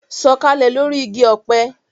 Sọ̀kalẹ̀ lórí igi ọ̀pẹ